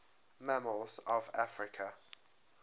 mammals of africa